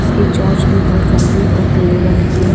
इसकी चौच भी बहुत लंबी और पीले रंग की है।